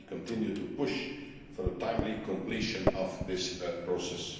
We continue to push for a timely completion of this process.